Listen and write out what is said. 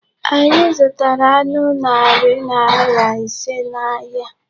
Anyị zụtara anụ narị naira ise n'ahịa.